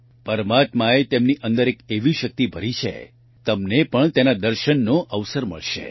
પરમાત્માએ તેમની અંદર એક એવી શક્તિ ભરી છે તમને પણ તેના દર્શનનો અવસર મળશે